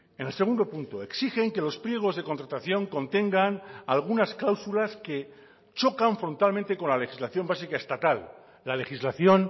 en el segundo punto exigen que los pliegos de contratación contengan algunas cláusulas que chocan frontalmente con la legislación básica estatal la legislación